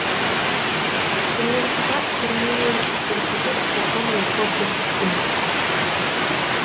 сонымен қатар түрмемен қорқытып қоқан лоқы көрсеткен